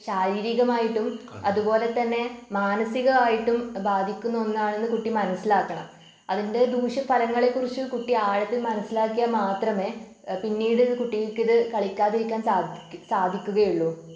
ശാരീരികമായിട്ടും അതുപോലെതന്നെ മാനസികമായിട്ടും ബാധിക്കുന്ന ഒന്നാണെന്ന് കുട്ടി മനസ്സിലാക്കണം. അതിൻ്റെ ദൂഷ്യഫലങ്ങളെക്കുറിച്ച് കുട്ടി ആഴത്തിൽ മനസ്സിലാക്കിയാൽ മാത്രമേ ഏഹ് പിന്നീട് കുട്ടിക്കിത് കളിക്കാതിരിക്കാൻ സാധിക്കു സാധിക്കുകയുള്ളു.